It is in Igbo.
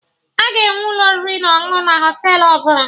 A ga-enwe ụlọ oriri na ọṅụṅụ na Họtelụ ọbụla